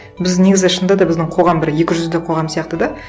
біз негізі шынында да біздің қоғам бір екі жүзді қоғам сияқты да